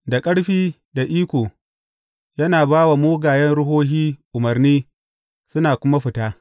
Da ƙarfi da iko, yana ba wa mugayen ruhohin umarni suna kuma fita!